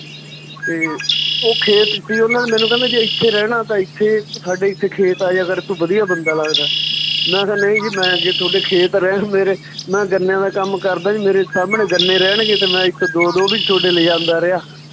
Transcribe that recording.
ਤੇ ਉਹ ਖੇਤ ਸੀ ਮੈਨੂੰ ਕਹਿੰਦੇ ਜੇ ਏਥੇ ਰਹਿਣਾ ਤਾਂ ਏਥੇ ਸਾਡੇ ਏਥੇ ਖੇਤ ਆ ਜਾਇਆ ਕਰ ਤੂੰ ਵਧੀਆ ਬੰਦਾ ਲੱਗਦਾ ਮੈਂ ਕਿਹਾ ਨਈਂ ਜੀ ਮੈਂ ਜੇ ਥੋਡੇ ਖੇਤ ਰਿਹਾ ਮੇਰੇ ਮੈਂ ਗੰਨਿਆਂ ਦਾ ਕੰਮ ਕਰਦਾ ਜੀ ਮੇਰੇ ਸਾਹਮਣੇ ਗੰਨੇ ਰਹਿਣ ਤੇ ਮੈਂ ਏਥੋ ਦੋ ਦੋ ਵੀ ਥੋਡੇ ਲਿਜਾਂਦਾ ਰਿਹਾ